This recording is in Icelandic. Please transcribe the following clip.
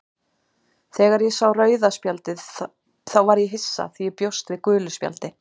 Þegar ég sá rauða spjaldið þá var ég hissa því ég bjóst við gulu spjaldi,